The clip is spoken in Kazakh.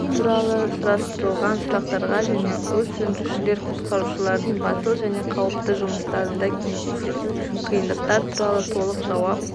туралы сұрастырылған сұрақтарға және өрт сөндірушілер-құтқарушылардың батыл және қауіпті жұмыстарында кездесетін қиындықтар туралы толық жауап